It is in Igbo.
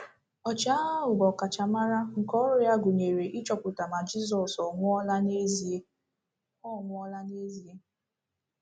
Ọchịagha ahụ bụ ọkachamara nke ọrụ ya gụnyere ịchọpụta ma Jizọs ọ̀ nwụọla n’ezie ọ̀ nwụọla n’ezie.